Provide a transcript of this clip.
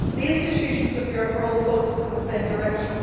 The institutions of Europe are all focused in the same direction.